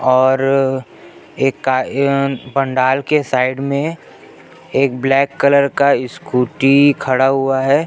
और एक का य पंडाल के साइड मे एक ब्लैक कलर का स्कूटी खड़ा हुआ है।